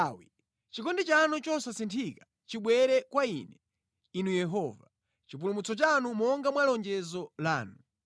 Chikondi chanu chosasinthika chibwere kwa ine, Inu Yehova, chipulumutso chanu monga mwa lonjezo lanu;